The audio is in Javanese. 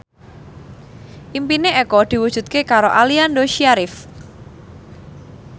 impine Eko diwujudke karo Aliando Syarif